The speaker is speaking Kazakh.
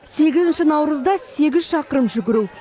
сегізінші наурызда сегіз шақырым жүгіру